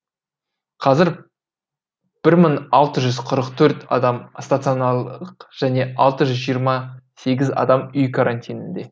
қазір бір мың алты жүз қырық төрт адам стационарлық және алты жүз жиырма сегіз адам үй карантинінде